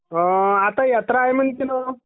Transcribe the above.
आता यात्रा आहे म्हणते ना?